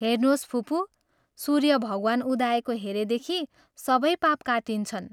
हेर्नोस् फुपू, सूर्य भगवान् उदाएको हेरेदेखि सबै पाप काटिन्छन्।